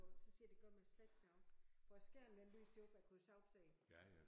Så siger jeg det gør mig slet ikke noget for æ skærm den lyste op jeg kunne sagtens se